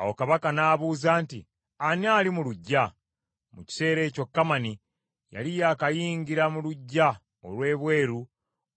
Awo Kabaka n’abuuza nti, “Ani ali mu luggya?” Mu kiseera ekyo Kamani yali yakayingira mu luggya olw’ebweru